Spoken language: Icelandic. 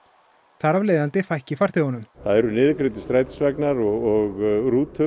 þar af leiðandi fækki farþegunum það eru niðurgreiddir strætisvagnar og rútur